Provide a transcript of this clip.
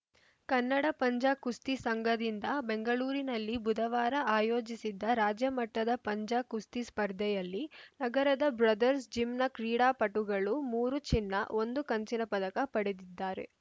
ಕನ್ನಡ ಪಂಜ ಕುಸ್ತಿ ಸಂಘದಿಂದ ಬೆಂಗಳೂರಿನಲ್ಲಿ ಬುಧವಾರ ಆಯೋಜಿಸಿದ್ದ ರಾಜ್ಯಮಟ್ಟದ ಪಂಜ ಕುಸ್ತಿ ಸ್ಪರ್ಧೆಯಲ್ಲಿ ನಗರದ ಬ್ರಾದರ್ಸ್ ಜಿಮ್‌ನ ಕ್ರೀಡಾಪಟುಗಳು ಮೂರು ಚಿನ್ನ ಒಂದು ಕಂಚಿನ ಪದಕ ಪಡೆದಿದ್ದಾರೆ